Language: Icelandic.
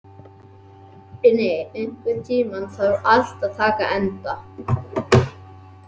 Uni, einhvern tímann þarf allt að taka enda.